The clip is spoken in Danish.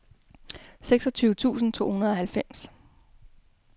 seksogtyve tusind to hundrede og halvfems